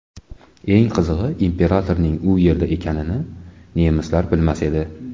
Eng qizig‘i, imperatorning u yerda ekanini nemislar bilmas edi.